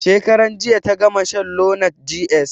Shekaran jiya ta gama shan lonart ds